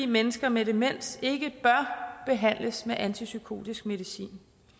mennesker med demens ikke bør behandles med antipsykotisk medicin